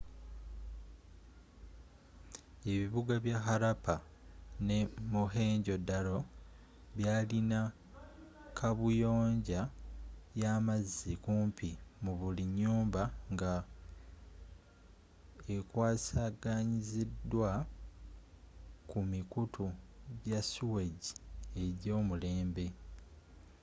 ebibuga bya harappa ne mohenjo-daro byalina kabuyonja y'amazzi kumpi mubuli nyumba nga ekwasaganyizidwa kumikutu jasuwegi ejomulembe